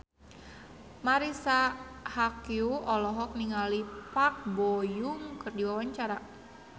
Marisa Haque olohok ningali Park Bo Yung keur diwawancara